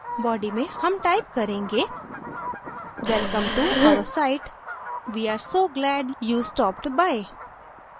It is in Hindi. body में हम type करेंगेwelcome to our site! we are so glad you stopped by!